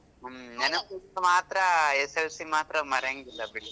ಹ್ಮ್ ನೆನಪು ಮಾತ್ರಾ SSLC ಮಾತ್ರಾ ಮರ್ಯಾಂಗ್ ಇಲ್ಲ ಬಿಡ್ರಿ.